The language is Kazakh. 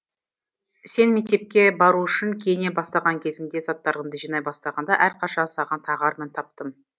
сен мектепке бару үшін киіне бастаған кезіңде заттарыңды жинай бастағанда әрқашан саған тағар мін таптым